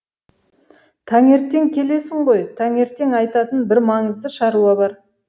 таңертең келесің ғой таңертең айтатын бір маңызды шаруа бар